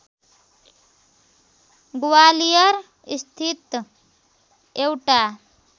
ग्वालियर स्थित एउटा